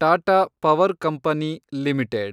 Tata power company limited